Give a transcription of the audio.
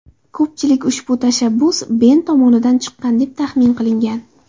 Ko‘pchilik ushbu tashabbus Ben tomonidan chiqqan, deb taxmin qilgan.